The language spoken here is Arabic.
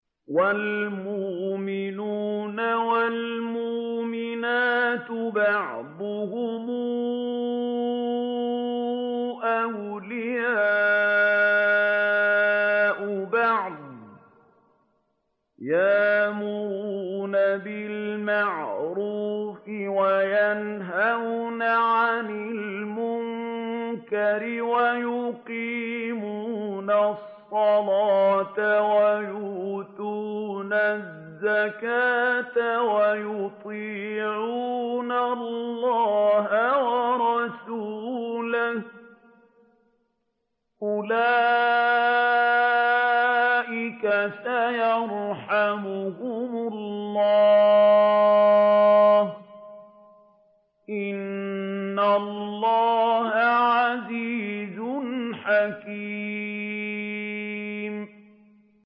وَالْمُؤْمِنُونَ وَالْمُؤْمِنَاتُ بَعْضُهُمْ أَوْلِيَاءُ بَعْضٍ ۚ يَأْمُرُونَ بِالْمَعْرُوفِ وَيَنْهَوْنَ عَنِ الْمُنكَرِ وَيُقِيمُونَ الصَّلَاةَ وَيُؤْتُونَ الزَّكَاةَ وَيُطِيعُونَ اللَّهَ وَرَسُولَهُ ۚ أُولَٰئِكَ سَيَرْحَمُهُمُ اللَّهُ ۗ إِنَّ اللَّهَ عَزِيزٌ حَكِيمٌ